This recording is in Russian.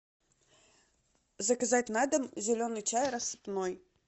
заказать на дом зеленый чай рассыпной